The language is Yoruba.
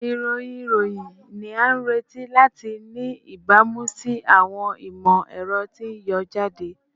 Irohin iroyin ni a nireti lati ni ibamu si awọn imọ-ẹrọ ti n yọ jade